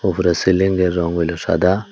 পুরো সিলিংয়ের রঙ হইল সাদা।